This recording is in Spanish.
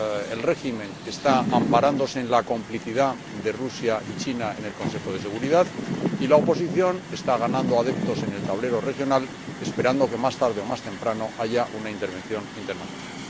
El régimen está amparándose en la complicidad de Rusia y China en el Consejo de Seguridad y la oposición está ganando adeptos en el tablero regional, esperando que, más tarde o más temprano, haya una intervención internacional.